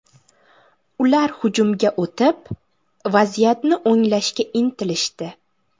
Ular hujumga o‘tib, vaziyatni o‘nglashga intilishdi.